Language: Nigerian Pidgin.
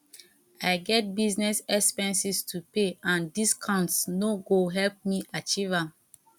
i get business expenses to pay and discounts no go help me achieve am